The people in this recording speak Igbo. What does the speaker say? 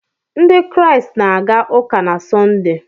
Ndị Kraịst na-aga ụka na Sọnde.